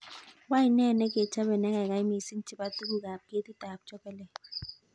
Wany ne negechape negaigai mising chepo tuguk ab kekit ab chokolet